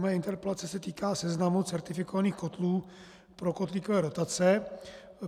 Moje interpelace se týká seznamu certifikovaných kotlů pro kotlíkové dotace.